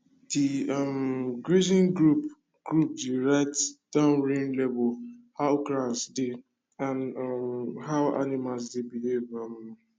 the um grazing group group dey write down rain level how grass dey and um how animals dey behave um